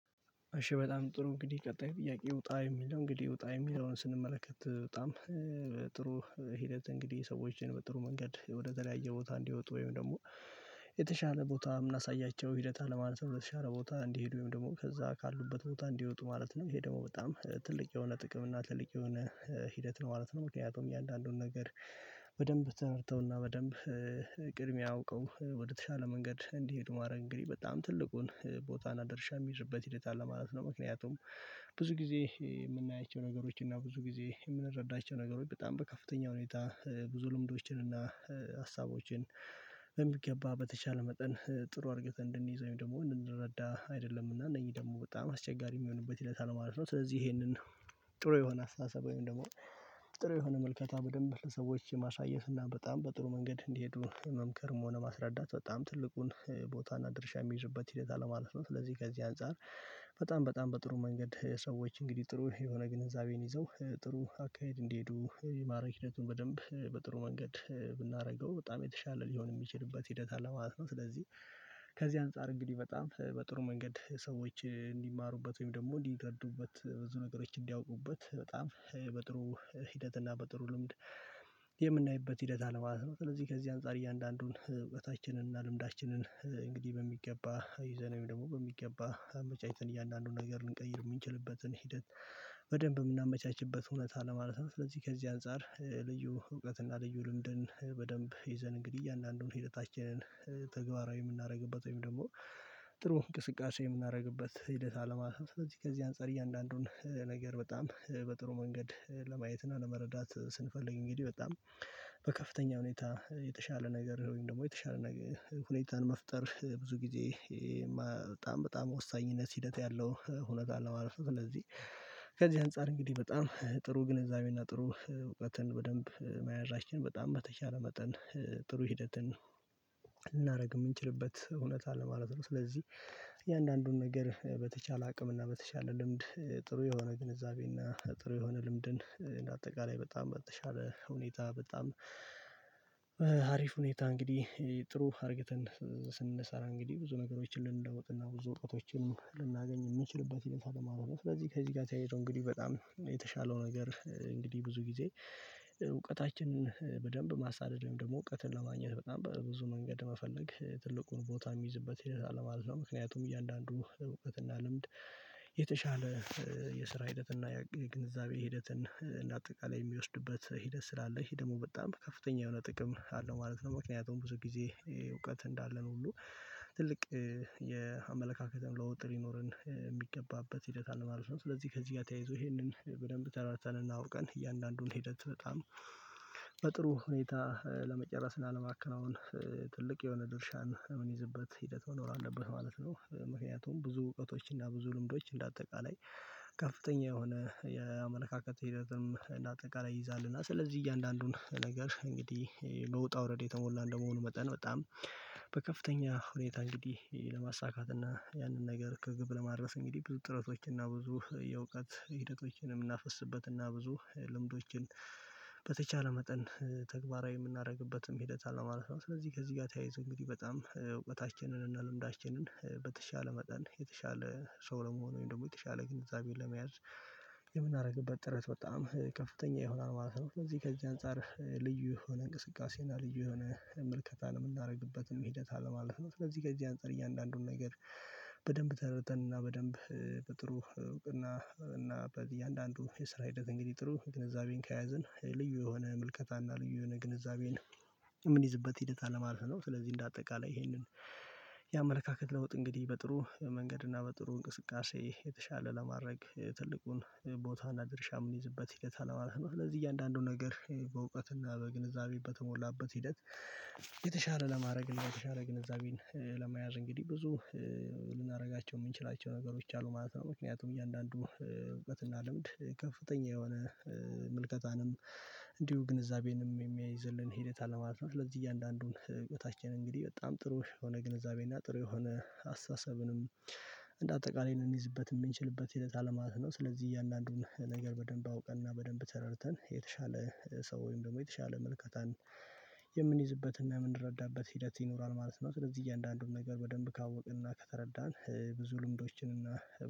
እሺ በጣም ጥሩ እንግዲህ ቀጣይ ጥያቄ ውጣ የሚለው እንግዲህ ውጣ የሚለውን ስንመለከት በጣም ጥሩ። ሂደት እንግዲህ ሰዎችን በጥሩ መንገድ ወደተለያየ ቦታ እንዲወጡ ወይም ደግሞ የተሻለ ቦታ እምናሳያቸው ሂደት አለ ማለት ነው። በተሻለ ቦታ እንዲሄዱ ወይም ደግሞ ከዛ ካሉበት ቦታ እንዲወጡ ማለት ነው። ይሄ ደግሞ በጣም ትልቅ የሆነ ጥቅም እና ትልቅ የሆነ ሂደት ነው ማለት ነው። ምክንያቱም እያንዳንዱን ነገር። በደንብ ተመርተውና በደንብ ቅድሚያ አውቀው ወደተሻለ መንገድ እንዲሄዱ ማድረግ እንግዲህ በጣም ትልቁን ቦታን አና ድርሻ እሚይዙበት ሂደት አለ ማለት ነው። ምክንያቱም ብዙ ጊዜ እምናያቸው ነገሮች እና ብዙ ጊዜ እምንረዳቸው ነገሮች በጣም በከፍተኛ ሁኔታ ብዙ ልምዶችን እና ሀሳቦችን በሚገባ በተቻለ መጠን። ጥሩ አድርገን እንድንይዝ ወይም ደግሞ እንድንረዳ አይደለምና እነዚህ ደግሞ በጣም አስቸጋሪ እሚሆንበት ሂደት አለ ማለት ነው። ስለዚህ ይሄንን ጥሩ የሆነ አስተሳሰብ ወይም ደግሞ ጥሩ የሆነ ምልከታ በደንብ ለሰዎች ማሳየት እና በጣም በጥሩ መንገድ እንዲሄዱ መምከርም ሆነ ማስረዳት በጣም ትልቁን ቦታና እና ድርሻ እሚይዝበት ሂደት አለ ማለት ነው። ስለዚህ ከዚህ አንፃር በጣም በጣም በጥሩ መንገድ ሰዎች እንግዲህ ጥሩ የሆነ ግንዛቤን ይዘው ጥሩ አካሄድ እንዲሄዱ የማድረግ ሂደቱን በደንብ በጥሩ መንገድ ብናደርገው በጣም የተሻለ ሊሆን እሚችልበት ሂደት አለማለት ነው። ስለዚህ ከዚህ አንፃር እንግዲህ በጣም በጥሩ መንገድ ሰዎች እንዲማሩበት ወይም ደግሞ እንዲረዱበት ብዙ ነገሮች እንዲያውቁበት በጣም በጥሩ ሂደትና በጥሩ ልምድ የምናይበት ሂደት አለ ማለት ነው። ስለዚህ ከዚህ አንፃር እያንዳንዱን እውቀታችንን እና ልምዳችንን እንግዲህ በሚገባ ይዘን ወይም ደግሞ በሚገባ አመቻችተን እያንዳንዱን ነገር ልንቀይር እምንችልበትን ሂደት በደንብ እምናመቻችበት እውነት አለ ማለት ነው። ስለዚህ ከዚህ አንፃር ልዩ እውቀትና ልዩ ልምድን በደንብ ይዘን እንግዲህ አንዳንዱን ሂደታችንን ተግባራዊ የምናደርግበት ወይም ደግሞ ጥሩ እንቅስቃሴ የምናደርግበት ሂደት አለ ማለት ነው። ስለዚህ ከዚህ አንፃር እያንዳንዱን ነገር በጣም በጥሩ መንገድ ለማየት እና ለመረዳት ስንፈልግ እንግዲህ በጣም በከፍተኛ ሁኔታ የተሻለ ነገር ወይም ደግሞ የተሻለ ነገር ሁኔታን መፍጠር ብዙ ጊዜ በጣም በጣም ወሳኝነት ሂደት ያለው ሁነት አለ ማለት ነው። ስለዚህ ከዚህ አንፃር እንግዲህ በጣም ጥሩ ግንዛቤና ጥሩ እውቀትን በደንብ መያዛችን በጣም በተቻለ መጠን ጥሩ ሂደትን ልናደርግ እምንችልበት እውነት አለ ማለት ነው። ስለዚህ እያንዳንዱን ነገር በተቻለ አቅም እና በተቻለ ልምድ ጥሩ የሆነ ግንዛቤ እና ጥሩ የሆነ ልምድን እንደ አጠቃላይ በጣም በተሻለ ሁኔታ በጣም አሪፍ ሁኔታ እንግዲህ ጥሩ አድርገን ስንሰራ እንግዲህ ብዙ ነገሮችን ልንለውጥና ብዙ እውቀቶችን ልናገኝ የምንችልበት ሂደት አለ ማለት ነው። ስለዚህ ከዚህ ጋር ተያይዞ እንግዲህ በጣም የተሻለው ነገር እንግዲህ ብዙ ጊዜ እውቀታችንን በደንብ ማሳደድ ወይም ደግሞ እውቀትን ለማግኘት በጣም በብዙ መንገድ መፈለግ ትልቁን ቦታ እሚይዝበት ሂደት አለ ማለት ነው። ምክንያቱም እያንዳንዱ እውቀትና ልምድ የተሻለ የስራ ሂደትና የግንዛቤ ሂደትን እና አጠቃላይ የሚወስድበት ሂደት ስላለ ይህ ደግሞ በጣም ከፍተኛ የሆነ ጥቅም አለው ማለት ነው። ምክንያቱም ብዙ ጊዜ እውቀት እንዳለን ሁሉ ትልቅ የአመለካከትን ለውጥ ሊኖረን የሚገባበት ሂደት አለ ማለት ነው። ስለዚህ ከዚህ ጋር ተያይዞ ይሄንን በደንብ ተረድተን እና አውቀን እያንዳንዱን ሄደት በጣም በጥሩ ሁኔታ ለመጨረስ እና ለማከናወን ትልቅ የሆነ ድርሻን እምንይዝበት ሂደት መኖር አለበት ማለት ነው። ምክንያቱም ብዙ እውቀቶች እና ብዙ ልምዶች እንደ አጠቃላይ ከፍተኛ የሆነ የአመለካከት ሂደትም እና አጠቃላይ ይይዛል እና ስለዚህ እያንዳንዱን ነገር እንግዲህ በውጣ ውረድ የተሞላ እንደመሆኑ መጠን በጣም በከፍተኛ ሁኔታ እንግዲህ ለማሳካት እና ያንን ነገር ከግብ ለማድረስ እንግዲህ ብዙ ጥረቶችና ብዙ የእውቀት ሂደቶችንም የምናፈስበትና ብዙ ልምዶችን በተቻለ መጠን ተግባራዊ እምናደርግበትም ሂደት አለ ማለት ነው። ስለዚህ ከዚህ ጋር ተያይዞ እንግዲህ በጣም እውቀታችንን እና ልምዳችንን በተሻለ መጠን የተሻለ ሰው ለመሆን ወይም ደግሞ የተሻለ ግንዛቤን ለመያዝ የምናደርግበት ጥረት በጣም ከፍተኛ ይሆናል ማለት ነው። ስለዚህ ከዚህ አንፃር ልዩ የሆነ እንቅስቃሴ እና ልጅ የሆነ ምልከታን እምናደርግበትም ሂደት አለ ማለት ነው። ለዚህ ከዚህ አንፃር እያንዳንዱን ነገር በደንብ ተረድተንና በደንብ በጥሩ እውቅና እና በእያንዳንዱ የስራ ሂደት እንግዲህ ጥሩ ንግዛቤን ከያዘን ልዩ የሆነ ምልከታና ልዩ የሆነ ግንዛቤን እምንይዝበት ሂደት አለ ማለት ነው። ስለዚህ እንደ አጠቃላይ ይሄንን የአመለካከት ለውጥ እንግዲህ በጥሩ መንገድ እና በጥሩ እንቅስቃሴ የተሻለ ለማድረግ ትልቁን ቦታና ድርሻ እምንይዝበት ሂደት አለ ማለት ነው። ስለዚህ እያንዳንዱን ነገር በእውቀትና በግንዛቤ በተሞላበት ሂደት የተሻለ ለማድረግ የተሻለ ግንዛቤን ለመያዝ እንግዲህ ብዙ ልናደርጋቸው እምንችላቸው ነገሮች አሉ ማለት ነው። ምክንያቱም እያንዳንዱ እውቀትና ልምድ ከፍተኛ የሆነ ምልከታንም እንዲሁ ግንዛቤንም የሚያይዝልን ሂደት አለ ማለት ነው። ስለዚህ እያንዳንዱን ህይወታችን እንግዲህ በጣም ጥሩ የሆነ ግንዛቤና ጥሩ የሆነ አስተሳሰብንም እንደ አጠቃላይ ልንይዝበት የምንችልበት ሂደት አለ ማለት ነው። ስለዚህ እያንዳንዱን ነገር በደንብ አውቀንና በደንብ ተረድተን የተሻለ ሰው ወይም ደግሞ የተሻለ ምልከታን የምንይዝበትና የምንረዳበት ሂደት ይኖራል ማለት ነው። ስለዚህ እያንዳንዱን ነገር በደንብ ካወቅንና ከተረዳን ብዙ ልምዶችንና